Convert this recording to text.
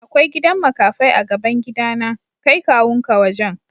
Akwai gidan makafai a'gaban gida na. Kai kawu'n ka wajen.